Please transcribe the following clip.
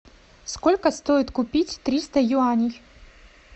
сколько стоит купить триста юаней